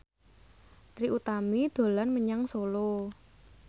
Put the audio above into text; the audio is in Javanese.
Trie Utami dolan menyang Solo